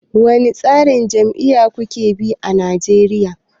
Wane tsarin jam'iyya kuke bi a Nigeria?